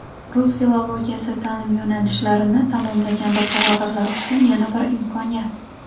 Rus filologiyasi taʼlim yo‘nalishlarini tamomlagan bakalavrlar uchun yana bir imkoniyat!.